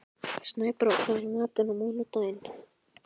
Snæbrá, hvað er í matinn á mánudaginn?